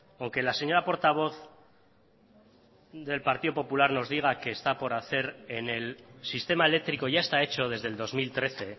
aunque la señora portavoz del partido popular nos diga que está por hacer en el sistema eléctrico ya está hecho desde el dos mil trece